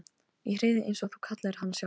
Í hreiðrið eins og þú kallaðir hana sjálf.